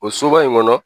O soba in kɔnɔ